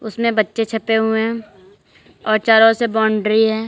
उसमें बच्चे छपे हुए हैं और चारों ओर से बाउंड्री हैं।